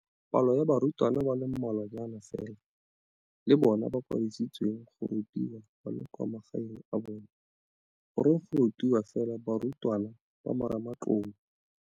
Palo ya barutwana ba le mmalwanyana fela le bona ba kwadiseditswe go rutiwa ba le kwa magaeng a bona. Goreng go rutiwa fela barutwana ba Marematlou?